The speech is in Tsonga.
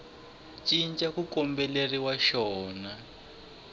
cinca ku kombeleriwaka xona a